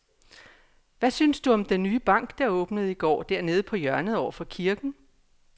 Hvad synes du om den nye bank, der åbnede i går dernede på hjørnet over for kirken?